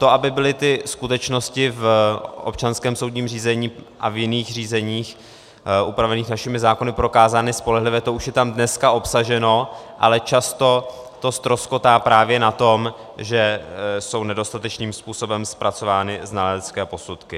To, aby byly ty skutečnosti v občanském soudním řízení a v jiných řízeních upravených našimi zákony prokázány spolehlivě, to už je tam dneska obsaženo, ale často to ztroskotá právě na tom, že jsou nedostatečným způsobem zpracovány znalecké posudky.